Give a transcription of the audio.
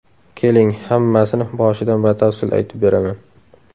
Keling, hammasini boshidan batafsil aytib beraman.